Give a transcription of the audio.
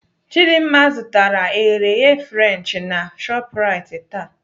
Chidimma zụtara eghereghe French na Shoprite taa.